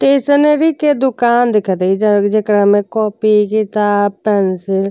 Stationery के दुकान दिखत हय। जह जेकरा में कॉपी किताब पेंसिल --